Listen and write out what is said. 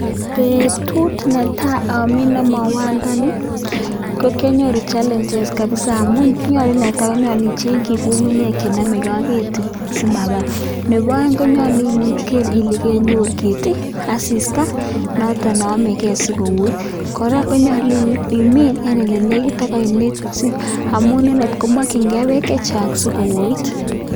Betut netaa amines mauandani ko kionyoru challenges kabisaa amun nyolu netaa nyolu ichengyi ng'ung'unyek chenomeke ak ketii simabar, nebo oeng konyolu iker ilee konyor keti asista noton neomeke sikowoit, kora konyolu imiin en elenekit ak oinet amun inendet komokying'e beek chechang sikowoit.